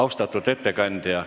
Austatud ettekandja!